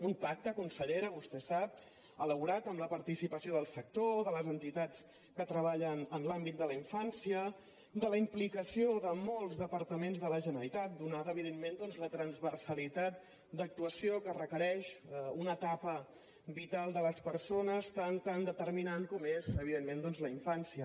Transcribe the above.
un pacte consellera vostè ho sap elaborat amb la participació del sector de les entitats que treballen en l’àmbit de la infància de la implicació de molts departaments de la generalitat atesa evidentment la transversalitat d’actuació que requereix una etapa vital de les persones tan determinant com és evidentment doncs la infància